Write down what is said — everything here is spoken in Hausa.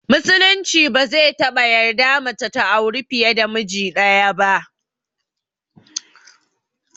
Musulunci ba zai taɓa yarda mace ta auri fiye da miji ɗaya ba